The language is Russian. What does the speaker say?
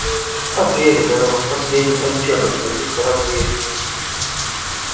что передано в последних отчётах с этих кораблей